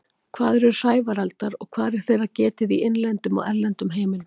Hvað eru hrævareldar og hvar er þeirra getið í innlendum og erlendum heimildum?